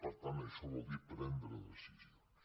per tant això vol dir prendre decisions